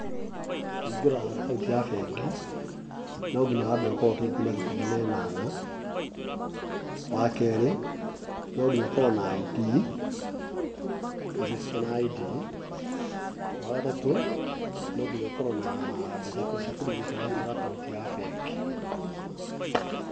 Kũhingũra akaunti ya bengi, no nginya wambe ũkorwo ũkinyĩtie mĩaka ikũmi na ĩnana, wakerĩ nonginya ũkorwo na ID ,ũthiĩte na ID. Wagatatũ nonginya ũkorwo na mbeca cia kũregĩsta wahingũra akaunti ya bengi.